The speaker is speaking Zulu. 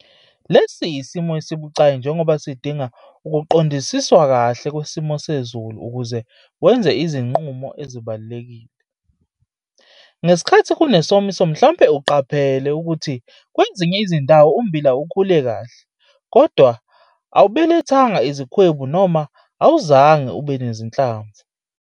Lesi yisimo esibucayi njengoba sidinga ukuqondisiswa kahle kwesimo sezulu ukuze wenze izinqumo ezibalulekile. Ngesikhathi kunesomiso mhlampe uqaphele ukuthi kwezinye izindawo ummbila ukhule kahle kodwa awubelethanga izikhwebu noma awuzange ube nezinhlamvu.